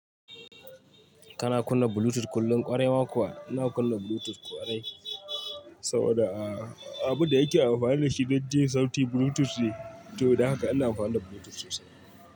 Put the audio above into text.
Kana kunna Bluetooth kullum kwarewa kuwa. Ina kunna Bluetooth kwarai, saboda a abun da yake amfani da shi dai je sautin Bluetooth ne, to don haka ina amfani da Bluetooth sosai.